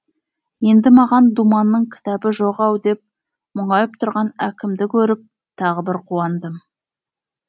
енді маған думанның кітабы жоқ ау деп мұңайып тұрған әкімді көріп тағы бір қуандым